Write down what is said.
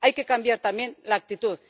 Hay que cambiar también la actitud.